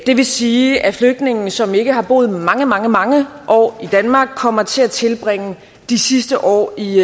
det vil sige at flygtninge som ikke har boet mange mange mange år i danmark kommer til at tilbringe de sidste år i